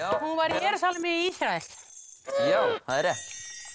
hún var í Jerúsalem í Ísrael það er rétt